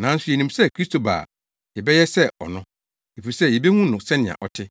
Nanso yenim sɛ Kristo ba a, yɛbɛyɛ sɛ ɔno, efisɛ yebehu no sɛnea ɔte.